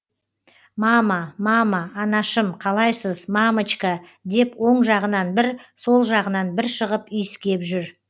мама мама анашым қалайсыз мамочка деп оң жағынан бір сол жағынан бір шығып иіскеп жүр